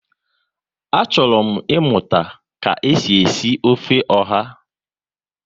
Achọrọ m ịmụta ka e si esi ofe ọha